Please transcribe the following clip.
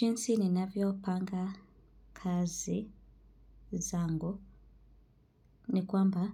Jinsi ninavyopanga kazi zangu ni kwamba